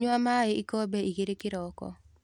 Nyua maĩikombe igĩrĩkĩroko.